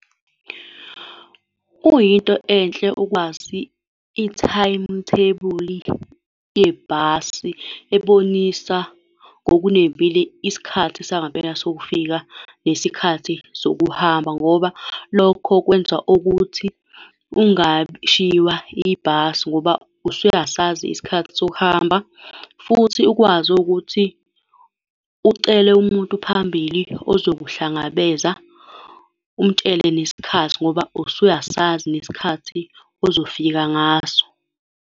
Kuyinto enhle ukwazi i-timetable yebhasi ebonisa ngokunembile isikhathi sangempela sokufika nesikhathi sokuhamba, ngoba lokho kwenza ukuthi ungashiywa ibhasi, ngoba usuyasazi isikhathi sokuhamba. Futhi ukwazi owukuthi ucele umuntu phambili ozokuhlangabeza umtshele nesikhathi, ngoba usuyasazi nesikhathi ozofika ngaso.